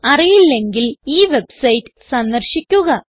അറിയില്ലെങ്കിൽ ഈ വെബ്സൈറ്റ് സന്ദർശിക്കുക